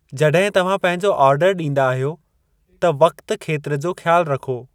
जॾहिं तव्हां पंहिंजो ऑर्डर ॾींदा आहियो त वक़्ति खेत्र जो ख़्यालु रखो।